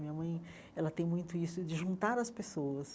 Minha mãe ela tem muito isso de juntar as pessoas.